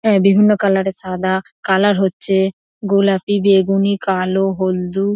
হ্যাঁ বিভিন্ন কালার এর সাদা কালার হচ্ছে গোলাপি বেগুনি কালো হলদু ।